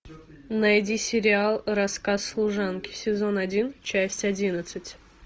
найди сериал рассказ служанки сезон один часть одиннадцать